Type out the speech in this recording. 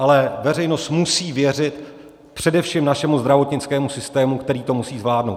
Ale veřejnost musí věřit především našemu zdravotnickému systému, který to musí zvládnout.